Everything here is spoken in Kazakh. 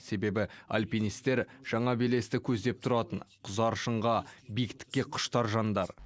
себебі альпинистер жаңа белесті көздеп тұратын құзар шыңға биіктікке құштар жандар